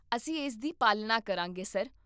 ਅਸੀਂ ਇਸ ਦੀ ਪਾਲਣਾ ਕਰਾਂਗੇ, ਸਰ